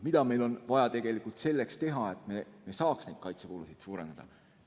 Mida meil on vaja tegelikult selleks teha, et me saaks kaitsekulusid suurendada?